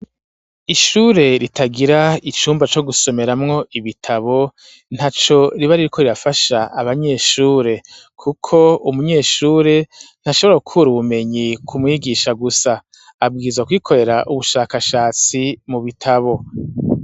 Ishure ritagira icumba co gusomeramwo ibitabo ntaco riba ririko rirafasha abanyeshure, kuko umunyeshuri ntashobora gukura ubumenyi kumwigisha gusa ,abwiza kwikorera ubushakashatsi mu bitabo.